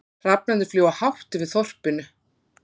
Hrafnarnir fljúga hátt yfir þorpinu.